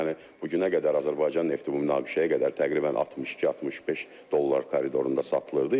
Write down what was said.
Yəni bu günə qədər Azərbaycan nefti bu münaqişəyə qədər təqribən 62-65 dollar koridorunda satılırdı.